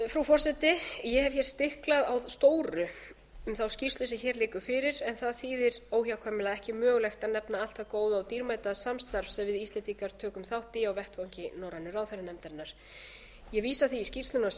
frú forseti ég hef hér stiklað á stóru um þá skýrslu sem hér liggur fyrir en það þýðir óhjákvæmilega að ekki er mögulegt að nefna allt það góða og dýrmæta samstarf sem við íslendingar tökum þátt í á vettvangi norrænu ráðherranefndarinnar ég vísa því í skýrsluna sjálfa sem eins